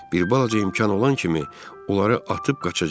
Bir balaca imkan olan kimi, onları atıb qaçacağıq.